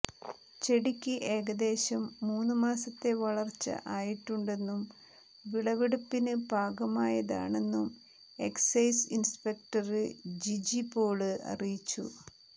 ചെടിക്ക് ഏകദേശം മൂന്ന് മാസത്തെ വളര്ച്ച ആയിട്ടുണ്ടെന്നും വിളവെടുപ്പിന് പാകമായതാണെന്നും എക്സൈസ് ഇന്സ്പെക്ടര് ജിജി പോള് അറിയിച്ചു